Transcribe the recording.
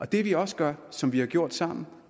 det vi også gør og som vi har gjort sammen